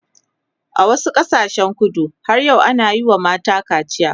a wasu ƙasashen kudu har yau ana Yi wa mata kacia